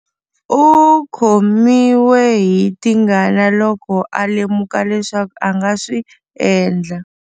U khomiwe hi tingana loko a lemuka leswaku a nga swi endla